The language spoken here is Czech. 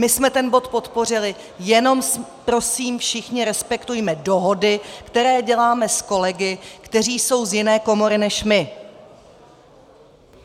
My jsme ten bod podpořili, jenom prosím, všichni respektujme dohody, které děláme s kolegy, kteří jsou z jiné komory než my.